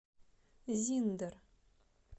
зиндер